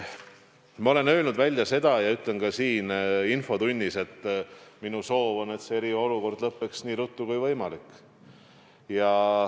Ma olen enne öelnud ja ütlen ka siin infotunnis välja: minu soov on, et eriolukord lõppeks nii ruttu kui võimalik.